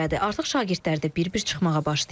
Artıq şagirdlər də bir-bir çıxmağa başlayır.